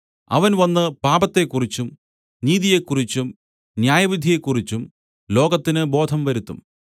അവൻ വന്നു പാപത്തെക്കുറിച്ചും നീതിയെക്കുറിച്ചും ന്യായവിധിയെക്കുറിച്ചും ലോകത്തിനു ബോധം വരുത്തും